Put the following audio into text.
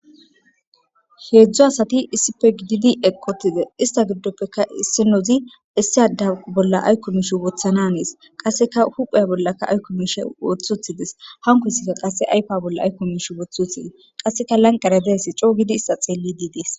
heedzdzu asati issife gididi ekotize ista giddoppeka issinozi issiada bolla aykko mishi wothana hanes qasseka huphaya bollaka aykko mishe wothothides hankoysika qasse aypa bolla ayko mish wothi utides qasseka lanqare deesi coo gidi ista xeellid des